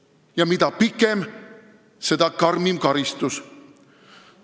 Ja mida pikem see protsess on, seda karmim on karistus.